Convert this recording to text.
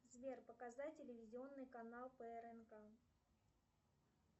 сбер показать телевизионный канал прнк